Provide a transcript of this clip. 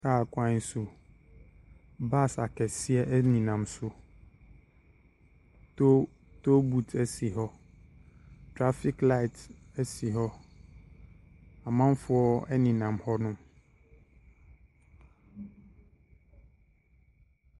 Kar kwan so bus akɛseɛ ne nam so tollbooth si ho traffic light si ho amanfoɔ ne nam ho nom.